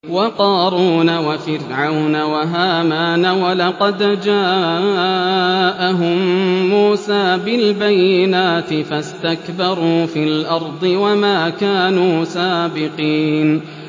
وَقَارُونَ وَفِرْعَوْنَ وَهَامَانَ ۖ وَلَقَدْ جَاءَهُم مُّوسَىٰ بِالْبَيِّنَاتِ فَاسْتَكْبَرُوا فِي الْأَرْضِ وَمَا كَانُوا سَابِقِينَ